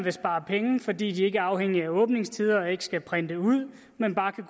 at spare penge fordi de ikke er afhængige af åbningstider og ikke skal printe ud men bare kan